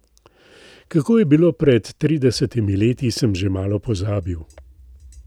Kako je bilo pred tridesetimi leti, sem že malo pozabil.